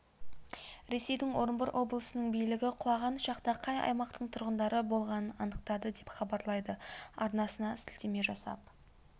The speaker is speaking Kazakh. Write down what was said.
ресейдің орынбор облысының билігі құлаған ұшақта қай аймақтың тұрғындары болғанын анықтады деп хабарлайды арнасына сілтеме жасап